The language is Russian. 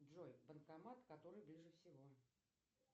джой банкомат который ближе всего